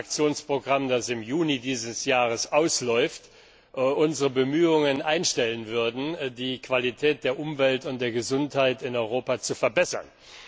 6. Aktionsprogramm, das im Juni dieses Jahres ausläuft, unsere Bemühungen einstellen würden, die Qualität der Umwelt und der Gesundheit in Europa zu verbessern.